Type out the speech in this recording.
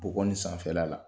Bɔgɔ nin sanfɛla la